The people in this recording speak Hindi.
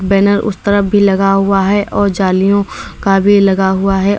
बैनर उस तरफ भी लगा हुआ है और जालियों का भी लगा हुआ है।